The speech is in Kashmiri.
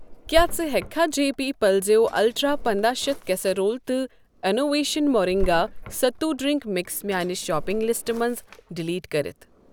کیٛاہ ژٕ ہٮ۪کہٕ کھہ جےپی پَلَزیو الٹرٛا پنداہ شتھ کیسِرول تہٕ innovation moringa sattu drink mix میاٛنہِ شاپِنٛگ لِسٹہٕ منٛزٕ ڈلیٹ کٔرِتھ ؟